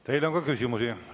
Teile on ka küsimusi.